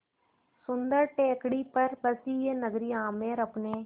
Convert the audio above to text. सुन्दर टेकड़ी पर बसी यह नगरी आमेर अपने